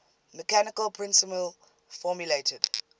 mechanical principle formulated